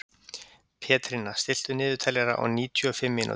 Pétrína, stilltu niðurteljara á níutíu og fimm mínútur.